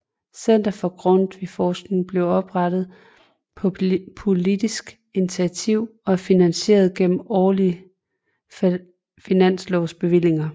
Center for Grundtvigforskning blev oprettet på politisk initiativ og er finansieret gennem årlige finanslovsbevillinger